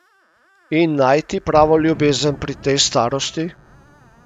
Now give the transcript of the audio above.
In najti pravo ljubezen pri tej starosti?